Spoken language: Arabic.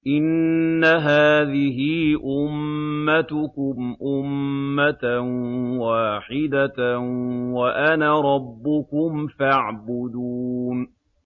إِنَّ هَٰذِهِ أُمَّتُكُمْ أُمَّةً وَاحِدَةً وَأَنَا رَبُّكُمْ فَاعْبُدُونِ